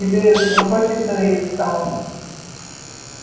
тебе захочется выйти самому